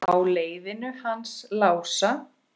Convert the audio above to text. Á leiðinu hans Lása?